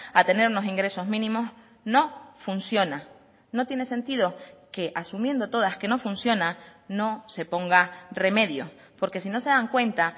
a tener unos ingresos mínimos no funciona no tiene sentido que asumiendo todas que no funciona no se ponga remedio porque si no se dan cuenta